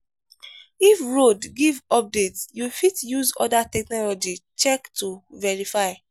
if radio give update you fit use oda technology check to verify